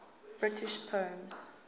british poems